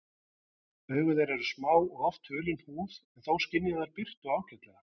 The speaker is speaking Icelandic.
Augu þeirra eru smá og oft hulin húð en þó skynja þær birtu ágætlega.